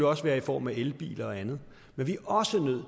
også være i form af elbiler og andet men vi er også nødt